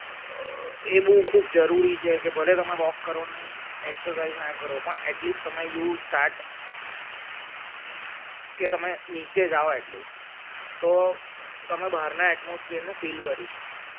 એ બઉં ખૂબ જરૂરી છે ભલે તમે વ કરે નહીં exercise ના કરો પણ એ at least you start કે તમે નીચે જાવ at least તો તમે બહારના atmosphere ને feel કરી શકશો